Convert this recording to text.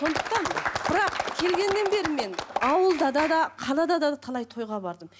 сондықтан бірақ келгеннен бері мен ауылдада да қалада да талай тойға бардым